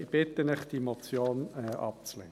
Ich bitte Sie, diese Motion abzulehnen.